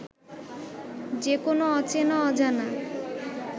যে কোন অচেনা অজানা